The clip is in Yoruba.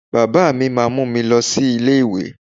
Baba mi máa mú mi lọ sí ilé ìwé.